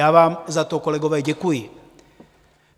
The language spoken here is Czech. Já vám za to, kolegové, děkuji.